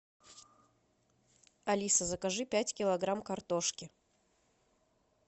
алиса закажи пять килограмм картошки